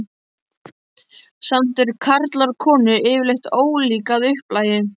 Samt eru karlar og konur yfirleitt ólík að upplagi.